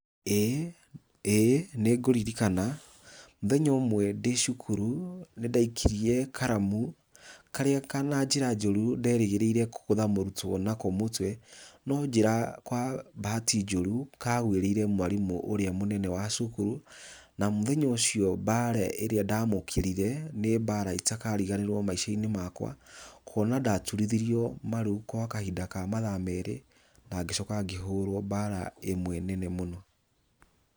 ĩ ĩ nĩngũririkana mũthenya ũmwe ndĩ cukuru nĩndaikirie karamu karĩa ka na njĩra njũrũ nderĩgĩrĩire kũgũtha mũrũtwo nako mũtwe, no njĩra kwa bahati njũrũ kagwĩrĩire mwarimũ ũrĩa mũnene wa cukuru na mũthenya ũcio mbara ĩrĩa ndamũkĩrire nĩ mbara itakariganĩrwo maica-inĩ makwa kũona ndaturithirio marũ kwa kahinda ka mathaa merĩ na ngĩcoka ngĩhũrwo mbara imwe nene mũno.